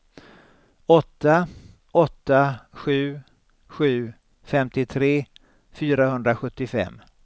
åtta åtta sju sju femtiotre fyrahundrasjuttiofem